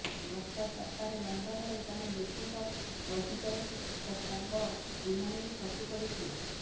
ଗତ ସପ୍ତାହରେ ଲଣ୍ଡନରେ ଜଣେ ବ୍ୟକ୍ତିଙ୍କ ବଗିଚାରେ ଏକ ଶବ ବିମାନରୁ ଖସି ପଡିଥିଲା